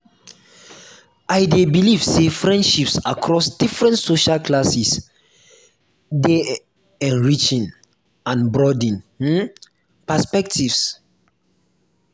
i dey believe say friendships across different social classes um dey enriching and broaden um perspectives. um